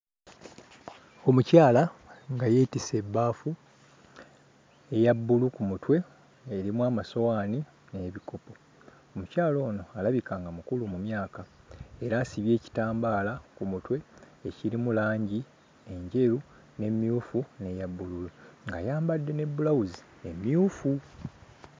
Omukyala nga yeetisse ebbaafu eya bbulu ku mutwe erimu amasowaani n'ebikopo. Omukyala ono alabika nga mukulu mu myaka era asibye ekitambaala ku mutwe ekirimu langi enjeru, n'emmyufu n'eya bbululu ng'ayambadde ne bbulawuzi mmyufu.